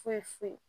Foyi foyi